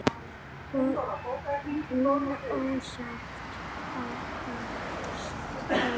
Hún óttast að hann hringi.